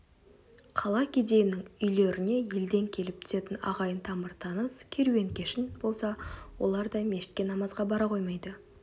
қала кедейінің үйлеріне елден келіп түсетін ағайын тамыр-таныс керуен-кешін болса олар да мешітке намазға бара қоймайды